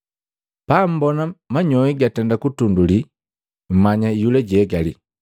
Pammbona manyoi gatenda kutunduli, mmanya iyula jihegali.